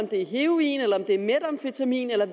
det er heroin eller om det er metamfetamin eller